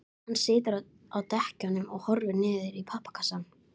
Hann situr á dekkjunum og horfir niður í pappakassann.